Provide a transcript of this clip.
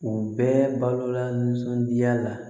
U bɛɛ balola nisɔndiya la